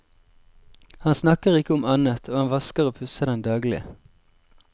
Han snakker ikke om annet, og han vasker og pusser den daglig.